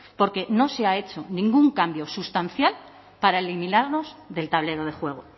porque no se ha hecho ningún cambio sustancial para eliminarlos del tablero de juego